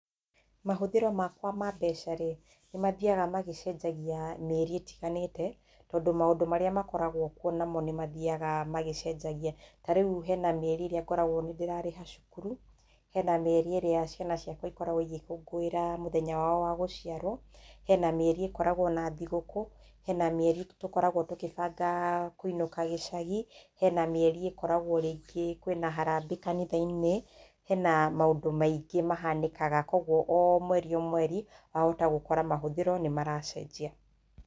Mahũthĩro makwa ma mbeca rĩ, nĩmathiaga magĩcenjagia mĩeri ĩtiganĩtee tondũ maũndũ marĩa makoragwo kuo namo nĩmathiaga magĩcenjagia. Tariũ hena mĩeri ĩrĩa ngoragwo nĩndĩrarĩha cukuru, hena mĩeri ĩrĩa ciana ciakwa ikoragwo igĩkungũira mũthenya wao wa gũciarwo, hena mĩeri ĩkoragwo na thigũkũ, hena mĩeri tũkoragwo tũkibanga kũinũka gĩcagi, hena mĩeri ĩkoragwo rĩngĩ kwĩna harambe kanithainĩ, hena maũndũ maingĩ mahanĩkaga, kwoguo o mweri o mweri wahota gũkora mahũthĩro nĩmaracenjia.